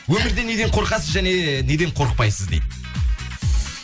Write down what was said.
өмірде неден қорқасыз және неден қорықпайсыз дейді